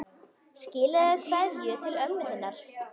Skilaðu kveðju til ömmu þinnar.